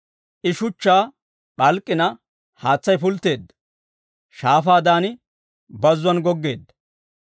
I shuchchaa p'alk'k'ina, haatsay pultteedda; shaafaadan bazzuwaan goggeedda.